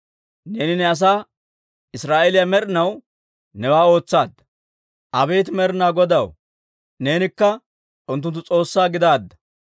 Neeni ne asaa Israa'eeliyaa med'inaw newaa ootsaadda. Abeet Med'inaa Godaw, neenikka unttunttu S'oossaa gidaadda.